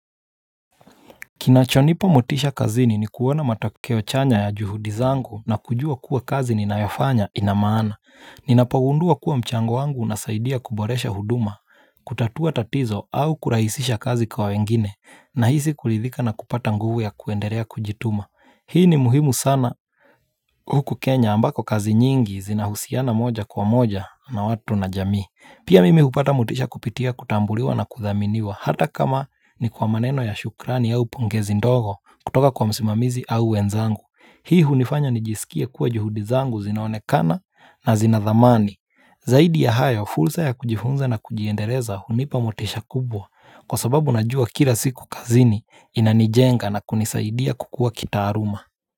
Kinachonipa motisha kazini ni kuona matokeo chanya ya juhudi zangu na kujua kuwa kazi ninayafanya ina maana. Ninapogundua kuwa mchango wangu unasaidia kuboresha huduma, kutatua tatizo au kurahisisha kazi kwa wengine nahisi kuridhika na kupata nguvu ya kuendelea kujituma. Hii ni muhimu sana huku Kenya ambako kazi nyingi zinahusiana moja kwa moja na watu na jamii. Pia mimi hupata motisha kupitia kutambuliwa na kuthaminiwa hata kama ni kwa maneno ya shukrani au pongezi ndogo kutoka kwa msimamizi au wenzangu. Hii hunifanya nijiskie kuwa juhudi zangu zinaonekana na zinathamani. Zaidi ya hayo fursa ya kujifunza na kujiendeleza hunipa motisha kubwa kwa sababu najua kila siku kazini inanijenga na kunisaidia kukuwa kitaaluma.